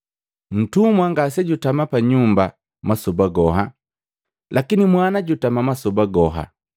Ntumwa ngasejutama pa nyumba masoba goha, lakini mwana jutama masoba goha.